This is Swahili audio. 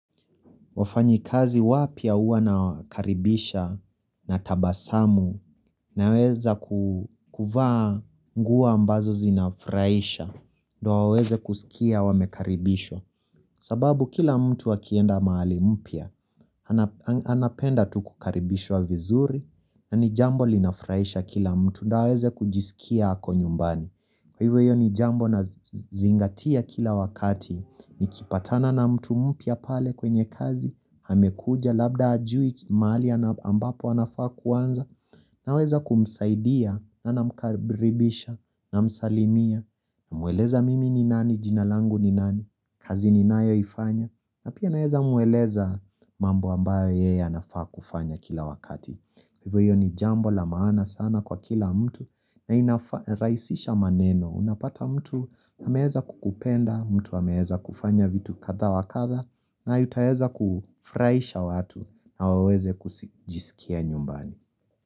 Wafanyikazi wapya huwa nawakaribisha na tabasamu naweza ku kuvaa nguo ambazo zinafurahisha ndo waweze kusikia wamekaribishwa sababu kila mtu akienda mahali mpya anapenda tu kukaribishwa vizuri na ni jambo linafurahisha kila mtu ndo aweze kujisikia ako nyumbani hivyo hiyo ni jambo nazingatia kila wakati Nikipatana na mtu mpya pale kwenye kazi amekuja labda hajui mahali ambapo anafaa kuanza Naweza kumsaidia na namkaribisha namsalimia namweleza mimi ni nani, jina langu ni nani, kazi ninayoifanya na pia naweza mweleza mambo ambayo yeye anafaa kufanya kila wakati Hivyo hiyo ni jambo la maana sana kwa kila mtu na inafaa rahisisha maneno Unapata mtu ameweza kukupenda, mtu ameweza kufanya vitu kadha wakadha na yutaweza kufuraisha watu na waweze kujisikia nyumbani.